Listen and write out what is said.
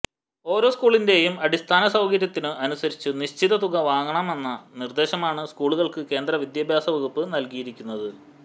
ഓരോ സ്കൂളിന്റെയും അടിസ്ഥാന സൌകര്യത്തിനു അനുസരിച്ചു നിശ്ചിത തുക വാങ്ങാമെന്ന നിർദേശമാണ് സ്കൂളുകൾക്കു കേന്ദ്ര വിദ്യാഭ്യാസ വകുപ്പ് നൽകിയിരിക്കുന്നത്